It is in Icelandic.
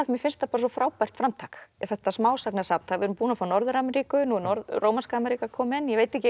mér finnst þetta svo frábært framtak þetta smásagnasafn við erum búin að fá Norður Ameríku nú er rómanska Ameríka komin ég veit ekki